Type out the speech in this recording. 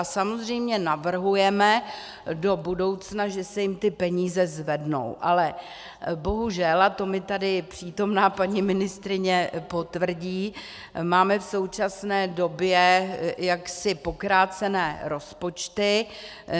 A samozřejmě navrhujeme do budoucna, že se jim ty peníze zvednou, ale bohužel, a to mi tady přítomná paní ministryně potvrdí, máme v současné době jaksi pokrácené rozpočty.